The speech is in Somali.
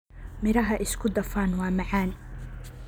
Miraha isku dhafan waa macaan.